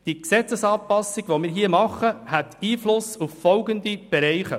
Diese Anpassung, die wir hier vornehmen, hätte Einfluss auf folgende Bereiche.